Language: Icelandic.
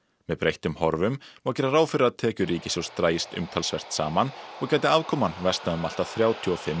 með breyttum horfum má gera ráð fyrir að tekjur ríkissjóðs dragist umtalsvert saman og gæti afkoman versnað um allt að þrjátíu og fimm